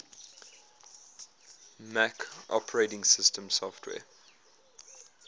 mac os software